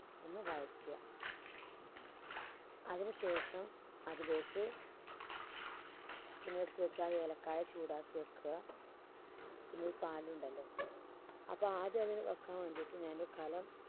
ഒന്ന് വയറ്റുക. അതിന് ശേഷം അതിലേക്ക് ഇളക്കാതെ ചൂടാക്കി വെക്കുക പിന്നെ ഈ പാൽ ഉണ്ടല്ലോ അപ്പോ ആദ്യത് വെക്കാൻ വേണ്ടിയിട്ട് ഞാൻ കലം